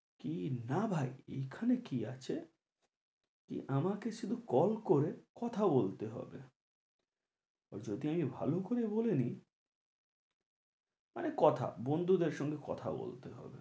কি না ভাই এই খানে কি আছে আমাকে শুধু call করে কথা বলতে হবে যদি আমি ভালো করে বলে নি মানে কথা বন্ধুদের সঙ্গে কথা বলতে হবে